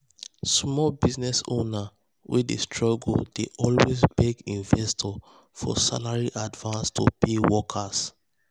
small business owner wey dey struggle dey always beg investors for salary advance to pay workers